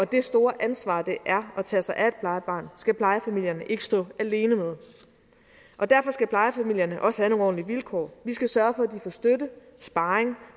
og det store ansvar det er at tage sig af et plejebarn skal plejefamilierne ikke stå alene med derfor skal plejefamilierne også have nogle ordentlige vilkår vi skal sørge for at de får støtte sparring